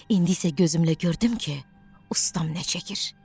İndi isə gözümlə gördüm ki, ustam nə çəkir.